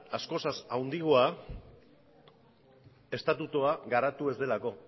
askoz handiagoa estatutua garatu ez delako